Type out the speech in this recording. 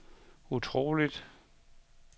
utroligt